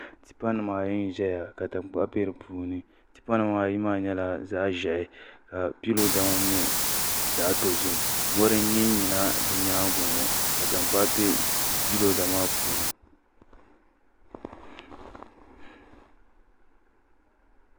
Tipa nim ayi n ʒɛya ka tankpaɣu bɛ di puuni tipa nimaayi maa nyɛla zaɣ ʒiɛhi ka piiroda ŋo nyɛ zaɣ dozim mori n yinyina bi nyaangi ŋo ka tankpaɣu bɛ piiroda maa puuni